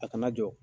A kana jɔ